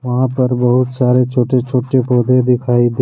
वहाँ पर बहुत सारे छोटे छोटे पौधे दिखाई दे।